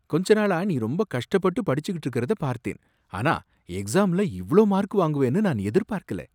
கொஞ்ச நாளா நீ ரொம்ப கஷ்டப்பட்டு படிச்சுக்கிட்டு இருக்கரத பார்த்தேன், ஆனா எக்ஸாம்ல இவ்ளோ மார்க் வாங்குவேன்னு நான் எதிர்பார்க்கல!